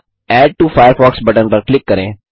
add to Firefox button पर click करें